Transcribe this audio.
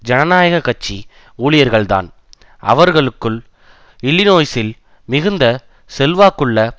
ஜனநாயக கட்சி ஊழியர்கள்தான் அவர்களுக்குள் இல்லினோய்சில் மிகுந்த செல்வாக்குள்ள